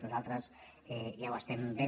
nosaltres ja ho estem fent